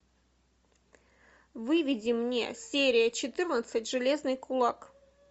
выведи мне серия четырнадцать железный кулак